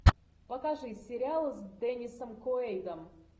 покажи сериал с деннисом куэйдом